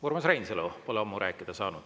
Urmas Reinsalu pole ammu rääkida saanud.